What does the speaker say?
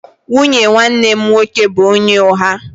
Nwunye nwanne m nwoke bụ onye ụgha